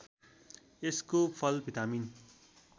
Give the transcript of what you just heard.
यसको फल भिटामिन